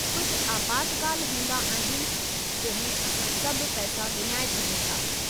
कुझ आपातकाल हूंदा आहिनि जंहिं में असां सभु पैसा विञाए छॾियूं था।